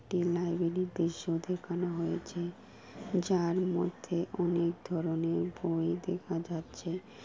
একটি লাইব্রেরীর দৃশ্য দেখানো হয়েছে। যার মধ্যে অনেক ধরণের বই দেখা যাচ্ছে।